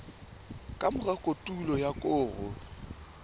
ka mora kotulo ya koro